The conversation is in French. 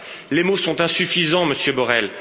Les mots sont insuffisants, Monsieur Borrell.